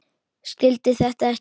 Skildi þetta ekki.